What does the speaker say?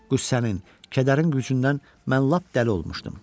Qüssənin, kədərin gücündən mən lap dəli olmuşdum.